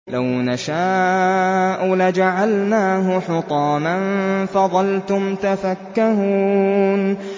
لَوْ نَشَاءُ لَجَعَلْنَاهُ حُطَامًا فَظَلْتُمْ تَفَكَّهُونَ